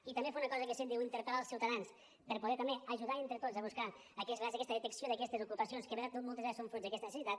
i també fer una cosa que se’n diu interpel·lar els ciutadans per poder també ajudar entre tots a buscar a vegades aquesta detecció d’aquestes ocupacions que moltes vegades són fruit d’aquesta necessitat